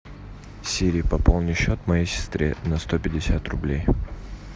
сири пополни счет моей сестре на сто пятьдесят рублей